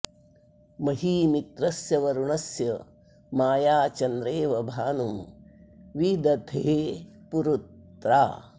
मही मित्रस्य वरुणस्य माया चन्द्रेव भानुं वि दधे पुरुत्रा